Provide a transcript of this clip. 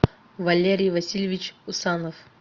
валерий васильевич усанов